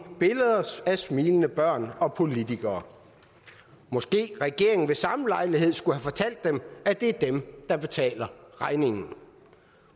billeder af smilende børn og politikere måske regeringen ved samme lejlighed skulle have fortalt dem at det er dem der betaler regningen